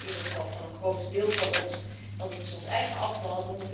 Dat krijgt u in ieder geval van een groot deel van ons, want het is ons eigen afval.